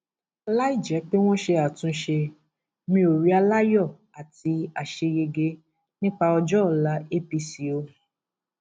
láì jẹ pé wọn ṣe àtúnṣe mi ò rí aláyọ àti àṣeyege nípa ọjọ ọla apc o